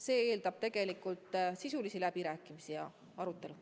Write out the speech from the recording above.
See eeldab sisulisi läbirääkimisi ja arutelu.